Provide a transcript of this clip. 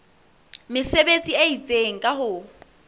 mesebetsi e itseng ka ho